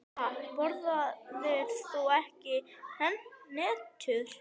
Ha, borðar þú ekki hnetur?